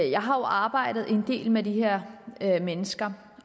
jeg har jo arbejdet en del med de her mennesker